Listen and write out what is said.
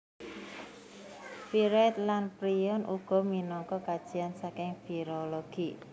Viroid lan prion uga minangka kajian saking virologi